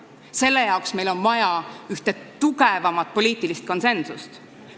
Selleks on meil vaja tugevamat poliitilist konsensust.